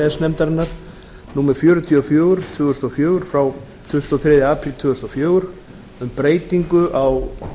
s nefndarinnar númer fjörutíu og fjögur tvö þúsund og fjögur frá tuttugasta og þriðja apríl tvö þúsund og fjögur um breytingu á